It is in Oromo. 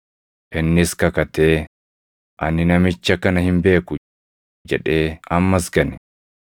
Innis kakatee, “Ani namicha kana hin beeku!” jedhee ammas gane.